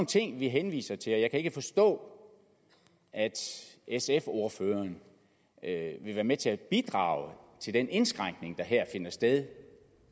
ting vi henviser til og jeg kan ikke forstå at sfs ordfører vil være med til at bidrage til den indskrænkning der her finder sted